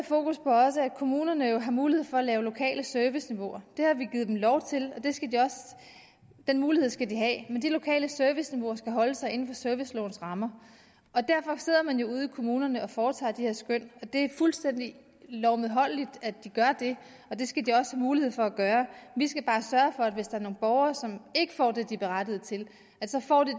kommunerne har mulighed for at have lokale serviceniveauer det har vi givet dem lov til og den mulighed skal de have men de lokale serviceniveauer skal holde sig inden for servicelovens rammer og derfor sidder man ude i kommunerne og foretager de her skøn det er fuldstændig lovmedholdeligt at de gør det og det skal de også have mulighed for at gøre vi skal bare sørge for at hvis der er nogle borgere som ikke får det de er berettiget til så får de